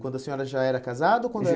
Quando a senhora já era casada? Ou quando